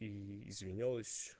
и извинилась